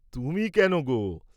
তুমি কেন গো?